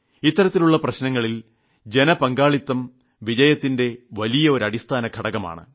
ഇത്തരത്തിലുള്ള പ്രശ്നങ്ങളിൽ ജനപങ്കാളിത്തം വിജയത്തിന്റെ വലിയ ഒരു അടിസ്ഥാനഘടകമാണ്